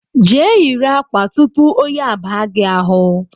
Je yiri ákwà tupu oyi abaa gị ahụ